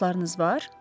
Dostlarınız var?